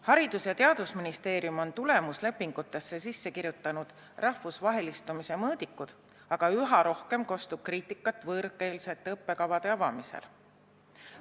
Haridus- ja Teadusministeerium on tulemuslepingutesse sisse kirjutanud rahvusvahelistumise mõõdikud, aga üha rohkem kostab kriitikat võõrkeelsete õppekavade avamisel.